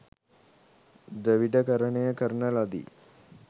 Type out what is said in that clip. ද්‍රවිඩකරණය කරන ලදි